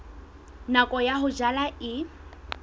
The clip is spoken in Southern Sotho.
nako ya ho jala e